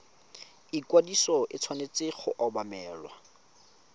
ikwadiso e tshwanetse go obamelwa